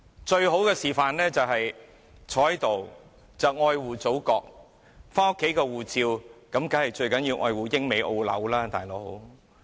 最好的示範就是坐在這裏愛護祖國，但家裏的護照當然最重要是愛護英、美、澳、紐。